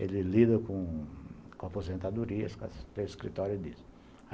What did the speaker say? Ele lida com aposentadorias, tem escritório disso.